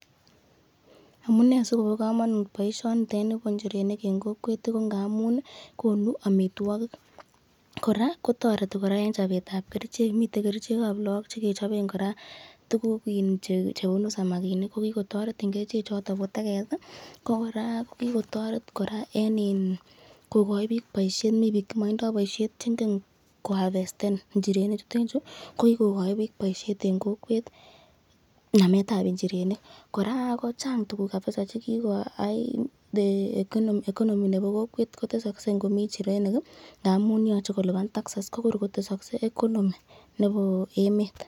Amunee sikobo komonut boishonitet nibo nchirenik en kokwet ko ng'amuun konuu amitwokik, kora kotoreti en chobetab kerichek, miten kerichekab look chekechoben kora tukuk iin chebunu samakinik ko kikotoret en kerichechoton bo teket, ko kora kikotoret kora en kokoi biik boishet, mii biik chemotindo boishet cheng'en ko havesten inchirenichuton chuu, ko kikokoi biik boishet en kokwet nametab inchirenik, kora kochang tukuk kabisaa chekikoyai, economy nebo kokwet kotesoksee komii inchirenik nga'muun yoche koliban taxes ko kor kotesoksee economy nebo emet.